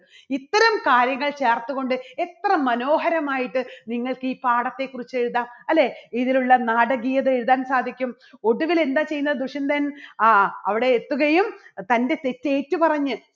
ഇത്തരം കാര്യങ്ങൾ ചേർത്തുകൊണ്ട് എത്ര മനോഹരമായിട്ട് നിങ്ങൾക്കി പാഠത്തെ കുറിച്ച് എഴുതാം. അല്ലേ? ഇതിലുള്ള നാടകീയത എഴുതാൻ സാധിക്കും ഒടുവില് എന്താ ചെയ്യുന്നേ ദുഷ്യന്തൻ? ആ അവിടെ എത്തുകയും തൻറെ തെറ്റ് ഏറ്റുപറഞ്ഞ്